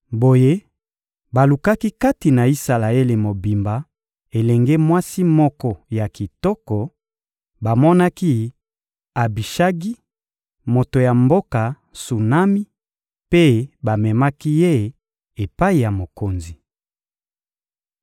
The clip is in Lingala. Boye, balukaki kati na Isalaele mobimba elenge mwasi moko ya kitoko; bamonaki Abishagi, moto ya mboka Sunami, mpe bamemaki ye epai ya mokonzi.